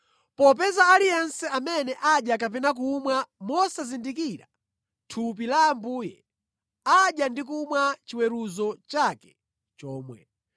Popeza aliyense amene adya kapena kumwa mosazindikira thupi la Ambuye, amadya ndi kumwa chiweruzo chake chomwe.